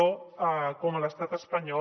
com a l’estat espanyol